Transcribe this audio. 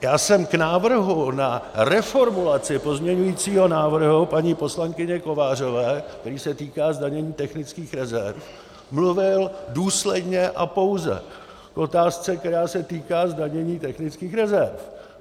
Já jsem k návrhu na reformulaci pozměňovacího návrhu paní poslankyně Kovářové, který se týká zdanění technických rezerv, mluvil důsledně a pouze k otázce, které se týká zdanění technických rezerv.